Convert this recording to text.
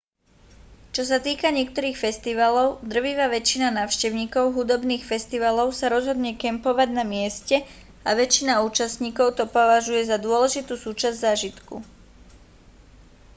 čo sa týka niektorých festivalov drvivá väčšina návštevníkov hudobných festivalov sa rozhodne kempovať na mieste a väčšina účastníkov to považuje za dôležitú súčasť zážitku